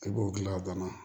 I b'o gilan a banna